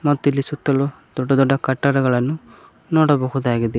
ಮತ್ತು ಇಲ್ಲಿ ಸುತ್ತಲು ದೊಡ್ಡ ದೊಡ್ಡ ಕಟ್ಟಡಗಳನ್ನು ನೋಡಬಹುದಾಗಿದೆ.